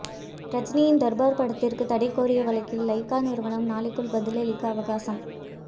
ரஜினியின் தர்பார் படத்திற்கு தடைகோரிய வழக்கில் லைகா நிறுவனம் நாளைக்குள் பதிலளிக்க அவகாசம்